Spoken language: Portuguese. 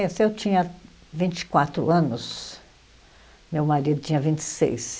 É, se eu tinha vinte e quatro anos, meu marido tinha vinte e seis.